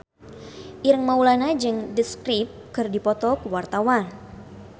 Ireng Maulana jeung The Script keur dipoto ku wartawan